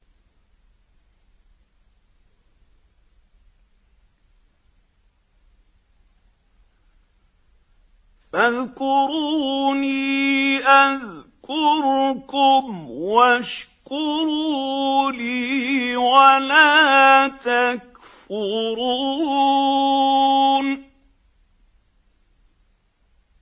فَاذْكُرُونِي أَذْكُرْكُمْ وَاشْكُرُوا لِي وَلَا تَكْفُرُونِ